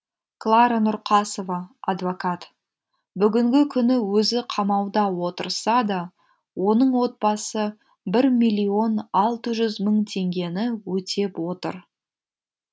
клара нұрқасова адвокат бүгінгі күні өзі қамауда отырса да оның отбасы бір миллион алты жүз мың теңгені өтеп отыр